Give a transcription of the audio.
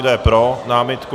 Kdo je pro námitku?